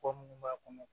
Kɔ minnu b'a kɔnɔ